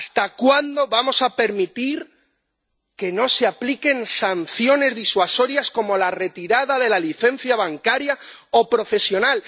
¿Hasta cuándo vamos a permitir que no se apliquen sanciones disuasorias como la retirada de la licencia bancaria o profesional?